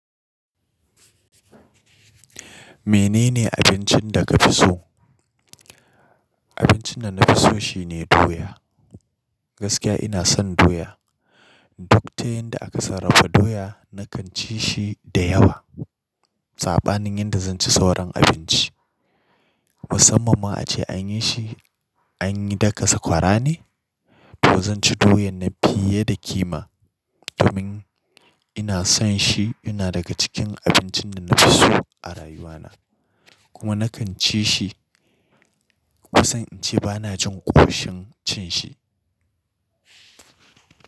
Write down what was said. Menene abincin da ka fi so? Abincin da na fi so shine doya. Gaskiya ina son doya. Duk ta yanda aka sarrafa doya na kan ci shi da yawa. Saɓanin yanda zan ci sauran abinci. Musamman ma ace anyi shi, anyi daka sakwara ne, to zan ci doyan nan fiye da kima. Domin ina son shi, yana daga cikin abincin da na fi so a rayuwa na. Kuma na kan ci shi. Kusan in ce bana jin ƙoshin cin shi.